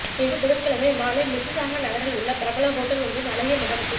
இன்று புதன்கிழமை மாலை மிசிசாகா நகரில் உள்ள பிரபல ஹோட்டல் ஒன்றின் அழகிய மண்டபத்தில்